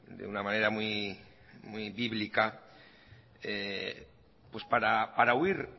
de una manera muy bíblica para huir